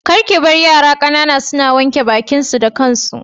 Kar kibar yara ƙanana suna wanke baƙin su da kansu.